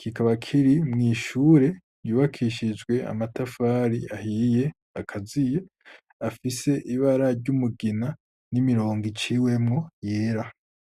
kikaba kiri mw'ishure ryubakishijwe amatafari ahiye akaziye, afise ibara ry'umugina n'imirongo iciwemwo yera.